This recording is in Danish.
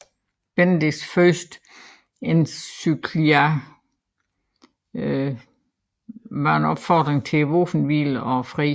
Benedicts første encyclica var en opfordring til våbenhvile og fred